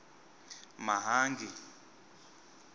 mahangi